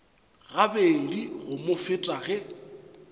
gabedi go mo feta ge